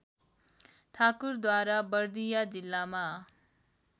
ठाकुरद्वारा बर्दिया जिल्लामा